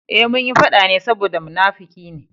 Eh, munyi faɗa ne saboda munafuki ne.